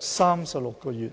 36個月。